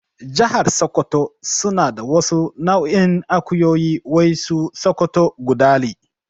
Jahar sakkwato suna da wasu nau'in akuyoyi wai su sokoto gudali